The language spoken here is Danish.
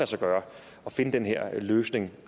sig gøre at finde den her løsning